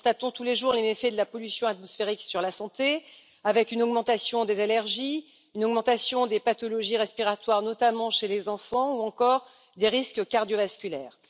Nous constatons tous les jours les méfaits de la pollution atmosphérique sur la santé, avec une augmentation des allergies, des pathologies respiratoires, notamment chez les enfants, ou encore des risques cardiovasculaires.